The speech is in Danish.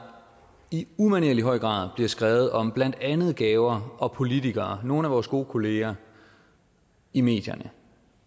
i umanerlig høj grad bliver skrevet om blandt andet gaver og politikere nogle af vores gode kollegaer i medierne